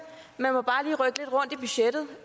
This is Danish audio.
at i budgettet